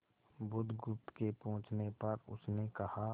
बुधगुप्त के पूछने पर उसने कहा